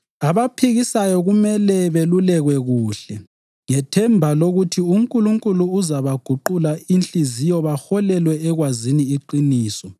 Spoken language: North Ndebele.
Abaphikisayo kumele belulekwe kuhle, ngethemba lokuthi uNkulunkulu uzabaguqula inhliziyo baholelwe ekwazini iqiniso